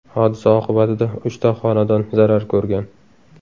Hodisa oqibatida uchta xonadon zarar ko‘rgan.